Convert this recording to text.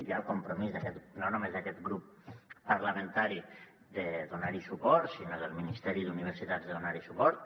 hi ha el compromís no només d’aquest grup parlamentari sinó del ministeri d’universitats de donar hi suport